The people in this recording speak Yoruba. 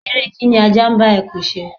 ère kíń ní aja n ba ekún se